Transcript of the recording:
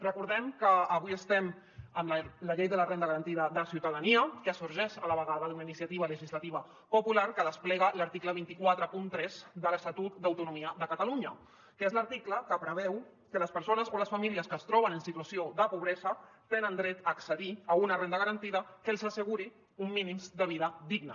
recordem que avui estem amb la llei de la renda garantida de ciutadania que sorgeix a la vegada d’una iniciativa legislativa popular que desplega l’article dos cents i quaranta tres de l’estatut d’autonomia de catalunya que és l’article que preveu que les persones o les famílies que es troben en situació de pobresa tenen dret a accedir a una renda garantida que els asseguri uns mínims de vida digna